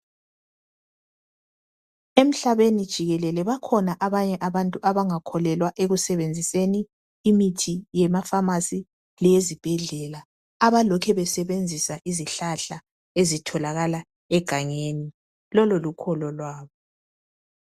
Emhlabeni jikelele bakhona abanye abantu abangakholelwa ekusebenziseni imithi yemafamasi leyezibhedlela abalokhe besebenzisa izihlahla ezitholakala egangeni lolo lolukholo lwabo